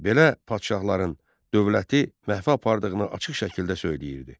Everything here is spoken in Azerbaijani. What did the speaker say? Belə padşahların dövləti məhvə apardığını açıq şəkildə söyləyirdi.